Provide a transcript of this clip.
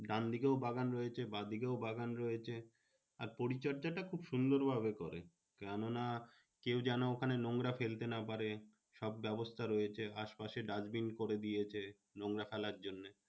ডান দিকেও বাগান রয়েছে বাঁ দিকেও বাগান রয়েছে। আর পরিচর্জাটা খুব সুন্দর ভাবে করে। কেন না কেউ যেন ওখানে নোংরা ফেলতে না পারে? সব ব্যবস্থা রয়েছে আশপাশে dustbin করে দিয়েছে নোংরা ফেলার জন্যে।